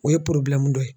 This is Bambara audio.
O ye dɔ ye